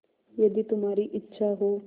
यदि तुम्हारी इच्छा हो